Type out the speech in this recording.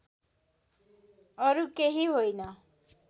अरू केही होइन